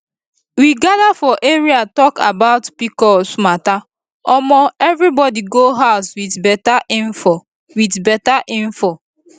we gather for area talk about pcos matter um everybody go huz wit better info wit better info